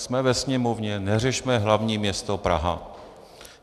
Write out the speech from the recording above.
Jsme ve Sněmovně, neřešme hlavní město Praha.